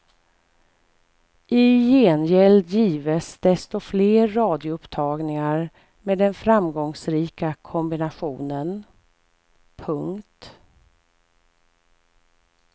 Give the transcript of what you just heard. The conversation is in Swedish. I gengäld gives desto fler radioupptagningar med den framgångsrika kombinationen. punkt